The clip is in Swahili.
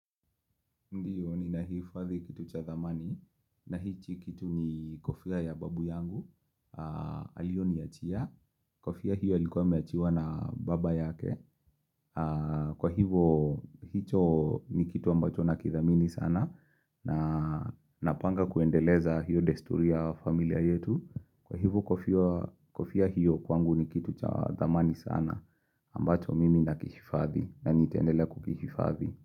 Ndiyo ninahifadhi kitu cha thamani na hicho kitu ni kofia ya babu yangu, alioniachia, kofia hiyo alikuwa ameachiwa na baba yake, kwa hivo hicho ni kitu ambacho na kithamini sana na napanga kuendeleza hiyo desturi ya familia yetu, kwa hivyo kofia kofia hiyo kwangu ni kitu cha zamani sana ambacho mimi na kifadhi na nitaendelea kukihifadhi.